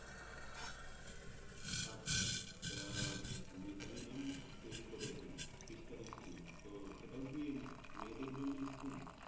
আচ্ছা তা Mitali Mam তৈরী করেছেন খ্রিস্টান School তো সেটাও কি মেয়েদের জন্য School